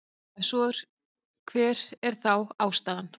Ef svo er hver er þá ástæðan?